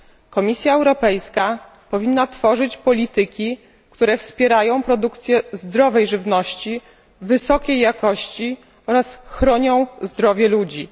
Komisja Europejska powinna tworzyć polityki, które wspierają produkcję zdrowej żywności wysokiej jakości oraz chronią zdrowie ludzi.